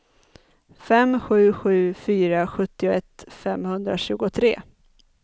fem sju sju fyra sjuttioett femhundratjugotre